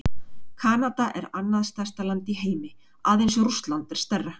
Kanada er annað stærsta land í heimi, aðeins Rússland er stærra.